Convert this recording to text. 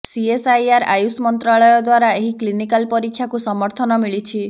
CSIR AYUSH ମନ୍ତ୍ରାଳୟ ଦ୍ୱାରା ଏହି କ୍ଲିନିକାଲ୍ ପରୀକ୍ଷାକୁ ସମର୍ଥିନ ମିଳିଛି